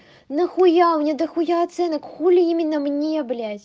нахуя мне дохуя оценок хули именно мне блядь